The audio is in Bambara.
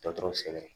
Dɔtɔrɔ sɛbɛn